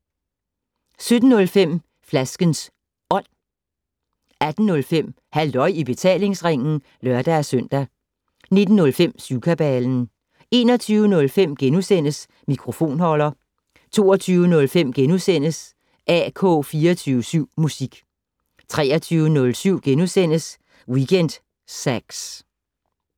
17:05: Flaskens Ånd 18:05: Halløj i betalingsringen (lør-søn) 19:05: Syvkabalen 21:05: Mikrofonholder * 22:05: AK24syv musik * 23:05: Weekend Sax *